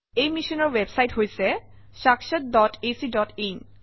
এই মিশ্যনৰ ৱেবচাইট হৈছে - sakshatacin